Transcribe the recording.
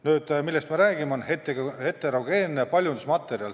Nüüd, see, millest me praegu räägime, on heterogeenne paljundusmaterjal.